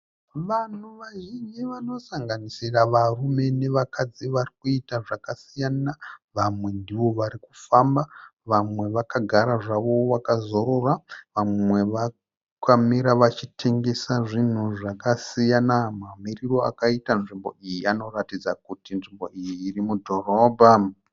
Vanhu vazhinji vanosanganisira varume nevakadzi varikuita zvakasiyana. Vamwe ndivo varikufamba. Vamwe vakagara zvavo vakazorora. Vamwe vakamira vachitengesa zvinhu zvasiyana. Mamiriro akaita nzvimbo iyi anoratidza kuti nzvimbo iyi irimudhorobha.